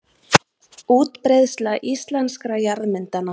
Útbreiðsla íslenskra jarðmyndana.